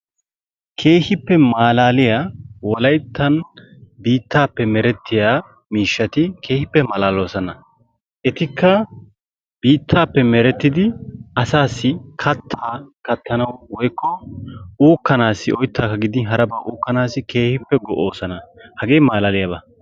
keehipe malaliyaa Wolayttan biittappe meretiyaa miishshati keehippe malaloosona. etikka biittappe meretidi asassi kattaa kattanawu woykko uukkanassi oyttakka gidin haraba uukanassi keehippe go'oosona. hagee keehippe malaliyaaba!